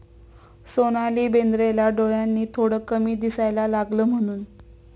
सोनाली बेंद्रेला डोळ्यांनी थोडं कमी दिसायला लागलं म्हणून...